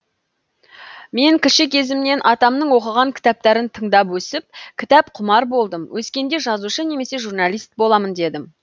мен кіші кезімнен атамның оқыған кітаптарын тыңдап өсіп кітапқұмар болдым өскенде жазушы немесе журналист боламын дедім